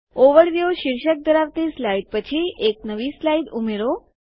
overview શીર્ષક ધરાવતી slide પછી એક નવી સ્લાઇડ ઉમેરો